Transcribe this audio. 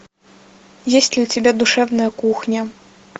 есть ли у тебя душевная кухня